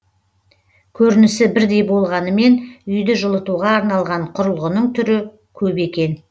көрінісі бірдей болғанымен үйді жылытуға арналған құрылғының түрі көп екен